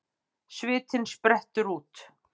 Svitinn sprettur út.